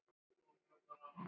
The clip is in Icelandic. Þakka guði.